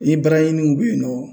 Ni baaraɲiniw be yen nɔ